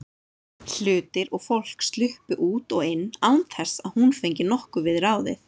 Hlutir og fólk sluppu út og inn án þess að hún fengi nokkuð við ráðið.